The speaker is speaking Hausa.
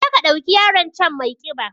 Je ka ɗauki yaron can maiƙiba